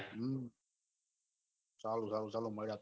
સારું સારું ચાલો મળીયે